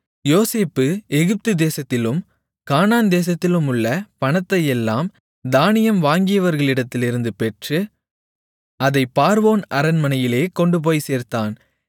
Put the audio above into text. யோசேப்பு எகிப்துதேசத்திலும் கானான்தேசத்திலுமுள்ள பணத்தையெல்லாம் தானியம் வாங்கியவர்களிடத்திலிருந்து பெற்று அதைப் பார்வோன் அரண்மனையிலே கொண்டுபோய்ச் சேர்த்தான்